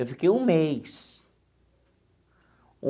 Eu fiquei um mês.